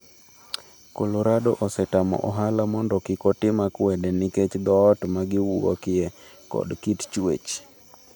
Colorado osetamo ohala mondo kik otim akwede nikech dhoot ma giwuokye kod kit chuech.